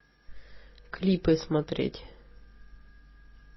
клипы смотреть